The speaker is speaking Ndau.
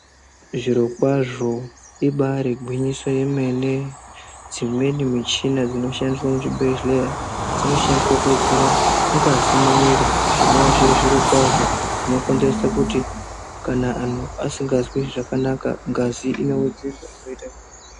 Zvirokwazvo ibari gwinyiso yemene dzimweni michina dzinoshandiswa dzinoshandiswa kuwedzera ngazi mumwiri zvinova zviri zviro kwazvo zvinokonzeresa kuti kana anhu asikazwi zvakanaka ngazi inowedzerwa.